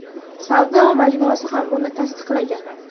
Savdo majmuasi ham buni tasdiqlagan.